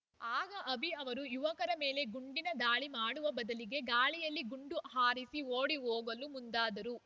ಆಗ ಅಭಿ ಅವರು ಯುವಕರ ಮೇಲೆ ಗುಂಡಿನ ದಾಳಿ ಮಾಡುವ ಬದಲಿಗೆ ಗಾಳಿಯಲ್ಲಿ ಗುಂಡು ಹಾರಿಸಿ ಓಡಿ ಹೋಗಲು ಮುಂದಾದರು